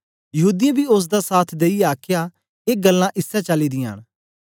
यहूदीयें बी ओसदा साथ देईयै आखया ए गल्लां इसै चाली दियां न